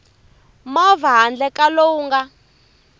movha handle ka lowu nga